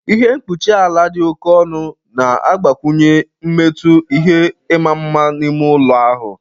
Ihe mkpuchi ala di oké ọnụ na-agbakwụnye mmetụ nke ịma mma n'ime ụlọ ahụ.